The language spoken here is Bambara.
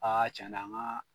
Aa can na an ka